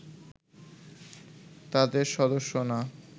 তাদের সদস্য না